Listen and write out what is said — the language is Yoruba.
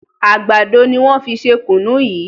àgbàdo ní wón fí ṣe kunu yí